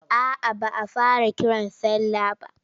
A'a ba a fara kiran sallah ba.